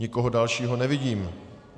Nikoho dalšího nevidím.